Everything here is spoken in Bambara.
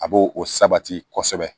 A b'o o sabati kosɛbɛ